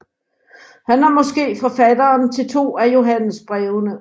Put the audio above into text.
Han er måske forfatteren til to af Johannesbrevene